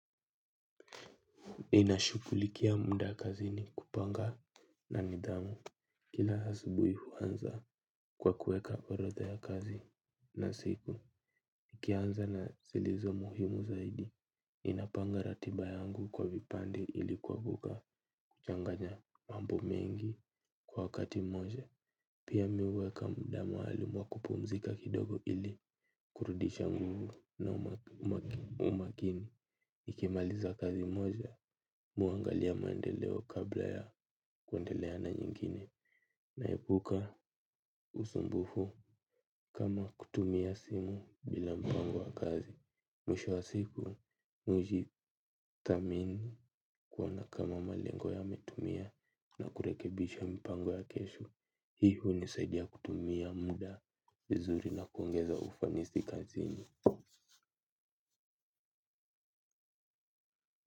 Ninashughulikia muda kazini kupanga na nidhamu. Kila asubuhi, huanza kwa kuweka orodha ya kazi za siku. Nikinaanza na zilizo muhimu zaidi, ninapanga ratiba yangu kwa vipande, ili kuepuka kuchanganya mambo mengi kwa wakati mmoja. Pia, mimi huweka muda maalumu wa kupumzika kidogo ili kurudisha nguvu na umakini. Nikimaliza kazi moja, mimi huangalia maendeleo kabla ya kuendelea na nyingine. Naepuka usumbufu kama kutumia simu bila mpango wa kazi. Mwisho wa siku, hujitathmini kuona kama malengo yametimia na kurekebisha mpango wa kesho. Hiyo hunisaidia kutumia muda vizuri na kuongeza ufanisi kazini.